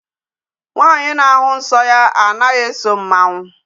Nwaanyị na-ahụ nsọ ya anaghị eso mmanwụ.